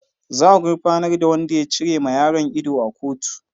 Za a gurfanar da wadan ya cire ma yaron ido a kotu.